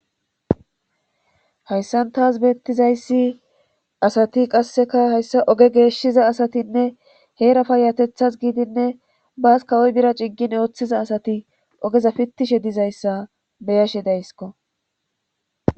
hayssan taas beettizayssi asati qasseka hayssa oge geeshshiza asatinne heerafa yatethas giidinne baas kawoy bira ciggin ooththiza asati ogeza pittishe dizayssa beyashe daysko